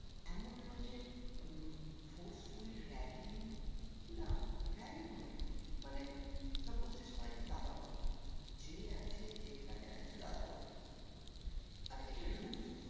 এমন নয় যে উম forcefully ragging না ragging নয় মানে suppose যে সবাইকে দাদা বলা যে আছে যেখানে আছে দাদা বলতে হবে আর এটা rules